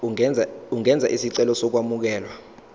ungenza isicelo sokwamukelwa